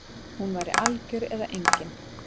Hún væri algjör eða engin